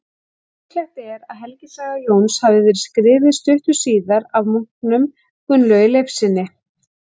Líklegt er að helgisaga Jóns hafi verið skrifuð stuttu síðar af munknum Gunnlaugi Leifssyni.